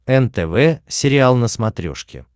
нтв сериал на смотрешке